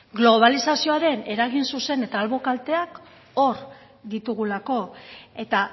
globalizazioaren eragin zuzen eta albo kalteak hor ditugulako eta